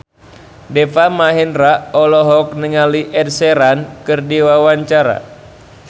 Deva Mahendra olohok ningali Ed Sheeran keur diwawancara